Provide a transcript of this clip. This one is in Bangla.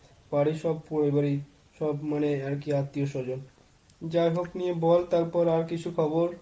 বাড়ির সব পরিবার মানে সব আত্মীয়স্বজন। যাই হোক নিয়ে বল তারপর আর কিছু খবর?